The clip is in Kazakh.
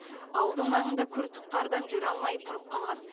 ауылдың маңында күртік қардан жүре алмай тұрып қалған